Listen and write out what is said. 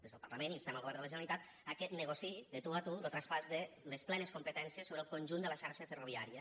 des del parlament instem el govern de la generalitat que negociï de tu a tu lo traspàs de les plenes competències sobre el conjunt de la xarxa ferroviària